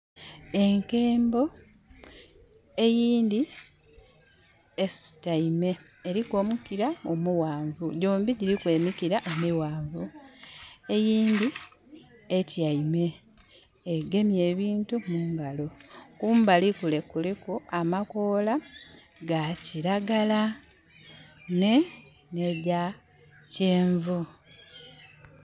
Enkembo eyindhi esutaime, eliku omukira omughanvu, dhombi dhiriku emikira emighanvu. Eyindhi etyeime egemye ebintu mungalo. Kumbali kule kuliku amakoola ga kiragala n'ebya kyenvu.